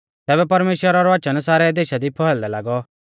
तैबै परमेश्‍वरा रौ वचन सारै देशा दी फैलदै लागौ